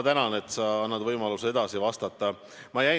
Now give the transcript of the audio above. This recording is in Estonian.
Tänan sind, et sa annad mulle võimaluse edasi vastata!